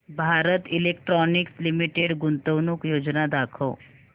Bharat Electronics Limited गुंतवणूक योजना दाखव